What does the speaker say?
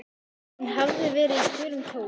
Hún hafði verið í gulum kjól.